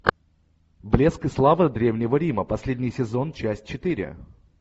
блеск и слава древнего рима последний сезон часть четыре